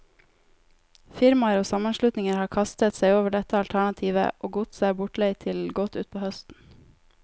Firmaer og sammenslutninger har kastet seg over dette alternativet, og godset er bortleid til godt utpå høsten.